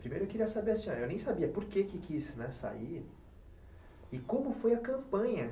Primeiro eu queria saber, eu nem sabia por que quis, né, sair e como foi a campanha.